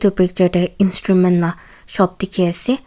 Picture tey instrument laa shop dekhi ase.